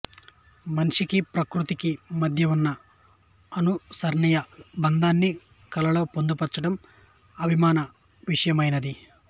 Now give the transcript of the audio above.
మనిషికి ప్రకృతికి మద్య ఉన్న అనుసరణీయ బంధాన్ని కళలలో పొందుపచడం అభిమాన విషయమైనది